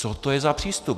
- Co to je za přístup?